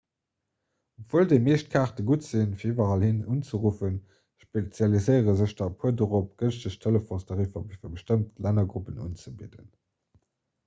obwuel déi meescht kaarte gutt sinn fir iwwerall hin unzeruffen spezialiséiere sech der e puer dorop gënschteg telefonstariffer fir bestëmmt lännergruppen unzebidden